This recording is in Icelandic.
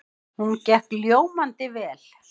Hún gekk ljómandi vel.